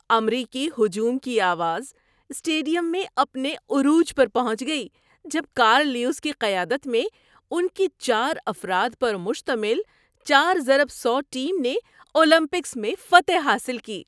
امریکی ہجوم کی آواز اسٹیڈیم میں اپنے عروج پر پہنچ گئی جب کارل لیوس کی قیادت میں ان کی چار افراد پر مشتمل 4x100 ٹیم نے اولمپکس میں فتح حاصل کی۔